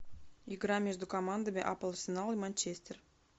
игра между командами апл арсенал и манчестер